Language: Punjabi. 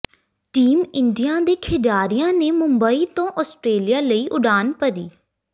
ਟੀਮ ਇੰਡਿਆ ਦੇ ਖਿਡਾਰੀਆਂ ਨੇ ਮੁੱੰਬਈ ਤੋਂ ਆਸਟਰੇਲੀਆ ਲਈ ਉਡਾਣ ਭਰੀ